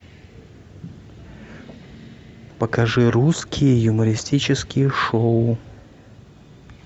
покажи русские юмористические шоу